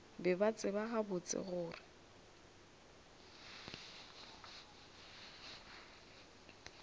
be ba tseba gabotse gore